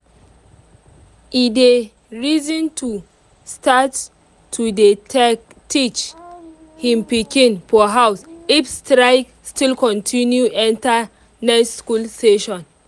e dey reason to start to day tek teach hin piken for house if strike still continue enter next school session.